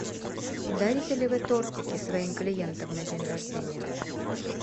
дарите ли вы тортики своим клиентам на день рождения